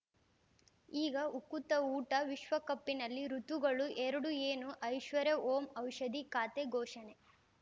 ಈಗ ಉಕುತ ಊಟ ವಿಶ್ವಕಪ್ಪಿನಲ್ಲಿ ಋತುಗಳು ಎರಡು ಏನು ಐಶ್ವರ್ಯಾ ಓಂ ಔಷಧಿ ಖಾತೆ ಘೋಷಣೆ